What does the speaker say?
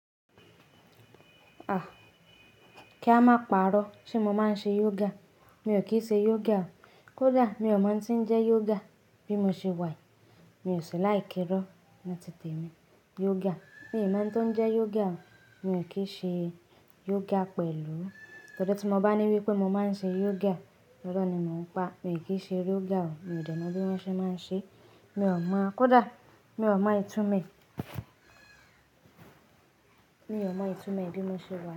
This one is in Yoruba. Ah! Kí a máa parọ́, ṣé mo máa ń ṣe yoga? Mi ò kí ṣe yoga. Kódà mi ò mọ̀ tí ń jẹ́ yoga bí mo ṣe wà yìí. Mi ò sí like irọ ni ti tèmi, yoga! Mi o mo ẹni tọ́ ń jẹ́ yoga. Mi ò kí ṣe yoga pẹ̀lú. Ọ̀dọ̀ tí mo bá ní wípé mo máa ń ṣe yoga, irọ́ ni mò ń pa. Mi ò kí ṣe yoga o. Mi ò dènà bí wọ́n ṣe máa ń ṣe. Mi ò mọ̀. Kódà mi ò mọ ìtumò e, mi ò mọ ìtumò bí mo ṣe Wàyí.